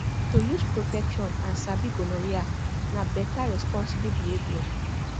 to use protection and sabi gonorrhea na better responsible behavior